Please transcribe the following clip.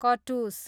कटुस